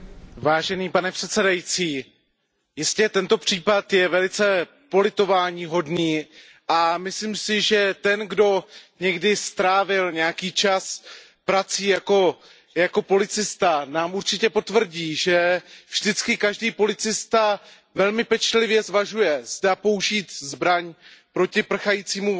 Pane předsedající, jistě je tento případ velice politováníhodný a myslím si, že ten, kdo někdy strávil nějaký čas prací jako policista, nám určitě potvrdí, že vždycky každý policista velmi pečlivě zvažuje, zda použít zbraň proti prchajícímu vozidlu.